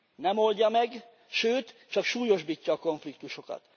Nem oldja meg, sőt, csak súlyosbítja a konfliktusokat.